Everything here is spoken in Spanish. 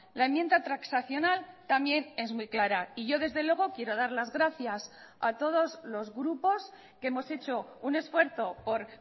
la enmienda transaccional también es muy clara y yo desde luego quiero dar las gracias a todos los grupos que hemos hecho un esfuerzo por